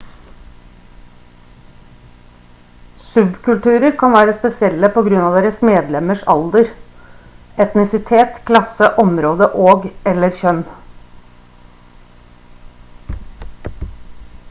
subkulturer kan være spesielle på grunn av deres medlemmers alder etnisitet klasse område og/eller kjønn